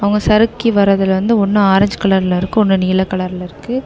சறுக்கி வர்றதுல வந்து ஒன்னு ஆரஞ்சு கலர்ல இருக்கு ஒன்னு நீல கலர்ல இருக்கு.